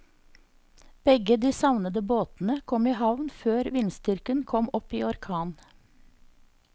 Begge de savnede båtene kom i havn før vindstyrken kom opp i orkan.